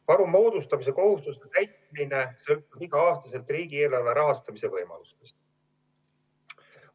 Varu moodustamise kohustuse täitmine sõltub igal aastal riigieelarve rahastamise võimalusest.